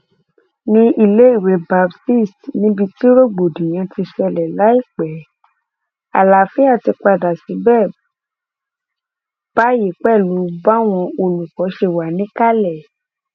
ní iléèwé baptist níbi tí rògbòdìyàn ti ṣẹlẹ láìpẹ àlàáfíà ti padà síbẹ báyìí pẹlú báwọn olùkọ ṣe wà níkàlẹ